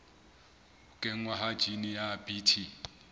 kenngwa ha jine ya bt